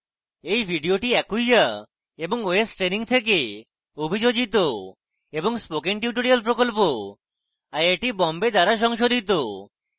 এই video acquia এবং ostraining থেকে অভিযোজিত এবং spoken tutorial প্রকল্প আইআইটি বোম্বে দ্বারা সংশোধিত